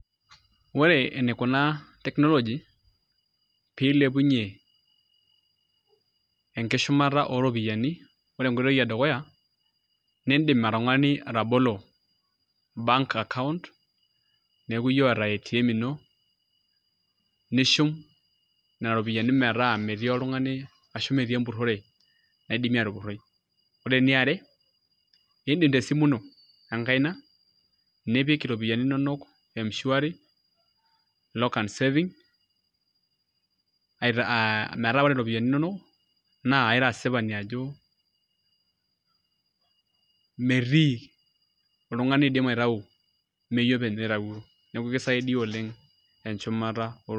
ore enikuna technology pee ilepunye, enkishumata oropiyiani, ore enkoitoi edukuya, nidim oltungani atabolo, bank account neeku iyie oota atm ino nishum nena ropiyiani metaa metii oltungani ashu metii empurore naidimi aatupuroi. ore eniare idim tesimu ino enkaina, nipik iropiyiai inonok mshwari, lock and saving metaa ore iropiyiani inonok, naa ira asipani ajo metii oltungani oidim aitayu ,meyie openy oitayio. neeku isaidia oleng enchumata.